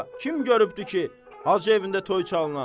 Kim görübdür ki, Hacı evində toy çalına?